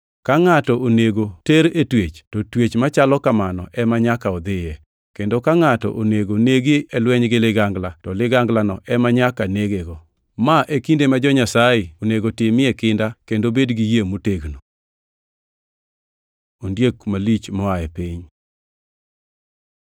Ka ngʼato onego ter e twech to twech machalo kamano ema nyaka odhiye. Kendo ka ngʼato onego negi e lweny gi ligangla to liganglano ema nyaka negego. Ma e kinde ma jo-Nyasaye onego timie kinda kendo bed gi yie motegno. Ondiek malich moa e piny